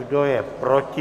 Kdo je proti?